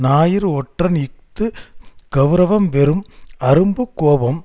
ஞாயிறு ஒற்றன் இஃது கெளரவம் வெறும் அரும்பு கோபம்